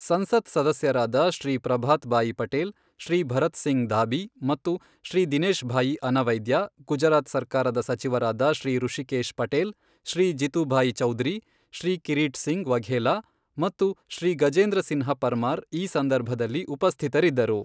ಸಂಸತ್ ಸದಸ್ಯರಾದ ಶ್ರೀ ಪ್ರಭಾತ್ ಭಾಯಿ ಪಟೇಲ್, ಶ್ರೀ ಭರತ್ ಸಿಂಗ್ ಧಾಬಿ ಮತ್ತು ಶ್ರೀ ದಿನೇಶ್ ಭಾಯಿ ಅನವೈದ್ಯ, ಗುಜರಾತ್ ಸರ್ಕಾರದ ಸಚಿವರಾದ ಶ್ರೀ ರುಶಿಕೇಶ್ ಪಟೇಲ್, ಶ್ರೀ ಜಿತುಭಾಯಿ ಚೌಧರಿ, ಶ್ರೀ ಕಿರೀಟ್ ಸಿಂಗ್ ವಘೇಲಾ ಮತ್ತು ಶ್ರೀ ಗಜೇಂದ್ರಸಿನ್ಹ ಪರ್ಮಾರ್ ಈ ಸಂದರ್ಭದಲ್ಲಿ ಉಪಸ್ಥಿತರಿದ್ದರು.